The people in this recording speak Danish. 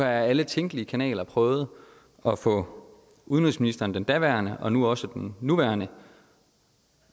alle tænkelige kanaler prøvet at få udenrigsministeren den daværende udenrigsminister og nu også den nuværende